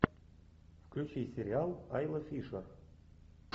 включи сериал айла фишер